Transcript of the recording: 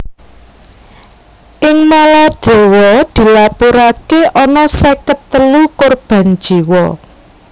Ing Maladewa dilapuraké ana seket telu korban jiwa